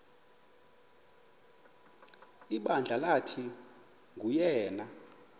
ibandla lathi nguyena